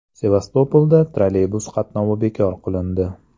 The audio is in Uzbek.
Sevastopolda trolleybus qatnovi bekor qilindi.